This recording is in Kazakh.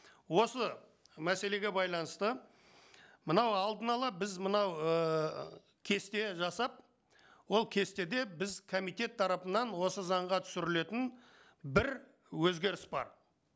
осы мәселеге байланысты мынау алдын ала біз мынау ііі кесте жасап ол кестеде біз комитет тарапынан осы заңға түсірілетін бір өзгеріс бар